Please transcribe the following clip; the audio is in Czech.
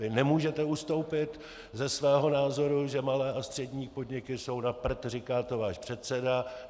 Vy nemůžete ustoupit ze svého názoru, že malé a střední podniky jsou na prd, říká to váš předseda.